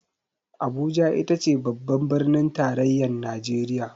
Abuja itace babbar birnin tarayyar najeriya.